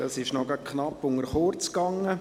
Das lief gerade noch knapp unter «kurz».